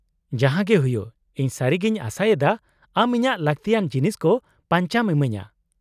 -ᱡᱟᱦᱟᱸᱜᱮ ᱦᱩᱭᱩᱜ, ᱤᱧ ᱥᱟᱹᱨᱤᱜᱤᱧ ᱟᱥᱟᱭᱮᱫᱟ ᱟᱢ ᱤᱧᱟᱹᱜ ᱞᱟᱠᱛᱤᱭᱟᱱ ᱡᱤᱱᱤᱥ ᱠᱚ ᱯᱟᱧᱪᱟᱢ ᱤᱢᱟᱹᱧᱟᱹ ᱾